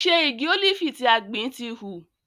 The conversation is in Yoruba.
Ṣe igi ólífì tí a gbìn ti hù?